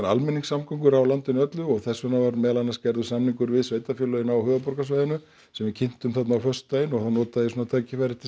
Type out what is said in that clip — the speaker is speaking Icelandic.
almenningssamgöngur á landinu öllu og þess vegna var gerður samningur við sveitarfélögin á höfuðborgarsvæðinu sem við kynntum þarna á föstudaginn og þá notaði ég svona tækifærið til